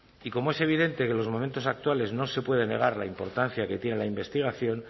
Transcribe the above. y como es evidente que en los momentos actuales no se puede negar la importancia que tiene la investigación